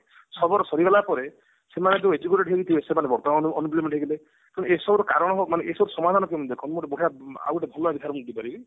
ଛ ବର୍ଷ ସରିଗଲା ପରେ ସେମାନେ ବି educated ହେଇଥିବେ ସେମାନେ ବି unemployment ହେଇଯିବେ କିନ୍ତୁ ଏସବୁ ର କାରଣ ମାନେ ଏସବୁର ସମାଧାନ କେମତି ଗୋଟେ ଦେଖନ୍ତୁ ଗୋଟେ ବଢିଆ ଆଉ ଗୋଟେ ଭଲ ଉଦାହରଣ ଦେଇ ପାରିବି